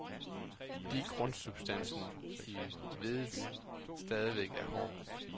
Fordi grundsubstansen i vedet stadig er hård.